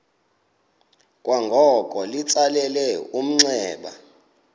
kwangoko litsalele umnxeba